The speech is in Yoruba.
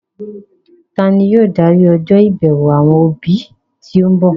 Tani yóò darí ọjọ́ ìbẹ̀wò àwọn òbí tí ń bọ̀?